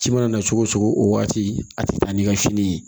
Ci mana na cogo o cogo o waati a tɛ taa ni ka fini ye